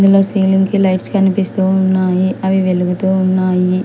ఉన్న సీలింగ్ కి లైట్స్ కనిపిస్తూ ఉన్నాయి అవి వెలుగుతూ ఉన్నాయి.